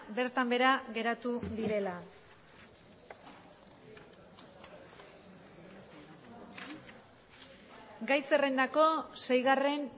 bertan behera geratu direla gai zerrendako seigarren